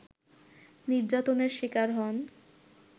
নির্যাতনের শিকার হন